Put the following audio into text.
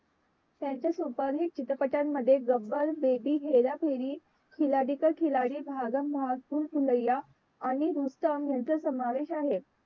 त्यांच्या सुपरहिट चित्रपटामध्ये गब्बर baby हेराफेरी खिलाडी का खिलाडी भागम भाग भूलभूलय्या आणि रुस्तम याचा समावेश आहे.